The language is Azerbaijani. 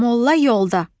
Molla yolda.